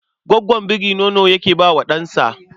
Gwaggon biri nono yake ba wa ɗansa